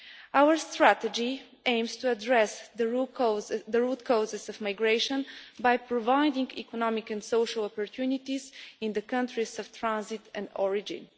Our strategy aims to address the root causes of migration by providing economic and social opportunities in the countries of transit and origin.